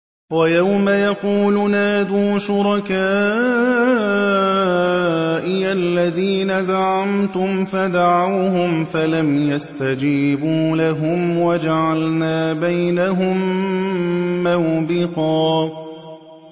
وَيَوْمَ يَقُولُ نَادُوا شُرَكَائِيَ الَّذِينَ زَعَمْتُمْ فَدَعَوْهُمْ فَلَمْ يَسْتَجِيبُوا لَهُمْ وَجَعَلْنَا بَيْنَهُم مَّوْبِقًا